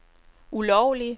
ulovlige